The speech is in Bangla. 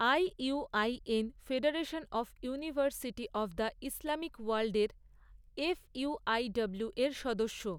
IUIN federation of university of the Islamic ওয়ার্ল্ডের এফইউআইডব্লুউ এর সদস্য।